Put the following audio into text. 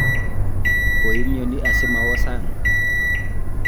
koimyoni asimawo sang'